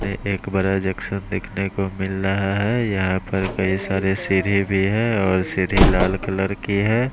एक बड़ा जंक्शन देखने को मिल रहा है। यहां पर कई सारे है और सीढ़ी लाल कलर की है।